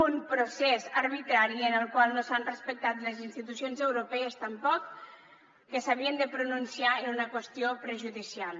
un procés arbitrari en el qual no s’han respectat les institucions europees tampoc que s’havien de pronunciar en una qüestió prejudicial